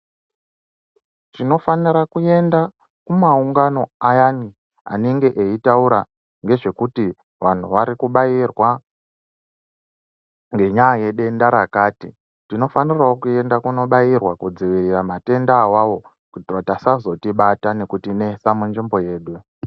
Tinofanira kuenda kumaungano ayani anenge eitaura ngezvekuti vanhu varikubairwa ngenyaya yedenda rakati . Tinofanira kuendawo kunobairirwa kudzivirira matenda awawo kuti asazotibata nekutinetsa munzvimbo yedu .